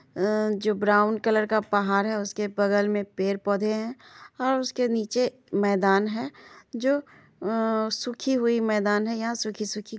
अ जो brown colour का पहार है उसके बगल में पेड़ पौधे है और उसके निचे मैदान है। जो अ सुखी हुई मैदान है। यहा सुखी सुखी--